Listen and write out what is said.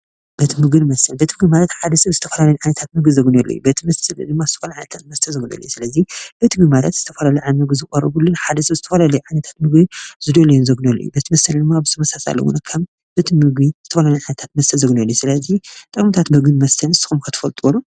ቤት ምግቢን መስተን ቤት ምግቢ ማለት ሓደ ሰብ ዝተፈላለዩ ዓይነታት ምግቢ ዘግንየሉ እዩ፡፡ ቤት መስተ ዝተፈላለዩ ዓይነታት መስተ ዘግንየሉ እዩ፡፡ ስለዚ ቤት ምግቢ ማለት ዝተፈላለየ ዓይነታት ምግቢ ዝቀርብሉን ሓደ ሰብ ዝተፈላለየ ዓይነታት ምግቢ ዝደለዩን ዝእዝዘሉ ቤት መስተ ድማ ብተመሳሳሊ ከም ቤት ምግቢ ዝተፈላለዩ ዓይነታት መስተ ዘግንየሉ እዩ፡፡ ስለዚ ጥቅምታት ምግብን መስተን ንስኩም ኸ ትፈልጥዎ ዶ?